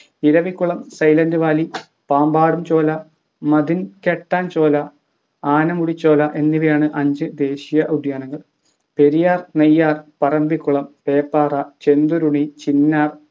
Eravikulam silent valley Pambadum Shola Mathikettan Shola Anamudi Shola എന്നിവയാണ് അഞ്ച് ദേശീയ ഉദ്യാനങ്ങൾ പെരിയാർ നെയ്യാർ പറമ്പിക്കുളം പേപ്പാറ ചെന്തുരുണി ചിന്നാർ